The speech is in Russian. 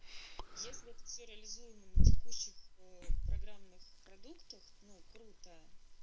если к реализуемые текущих программных продуктов ну круто